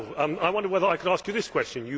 I wonder whether I could ask you this question.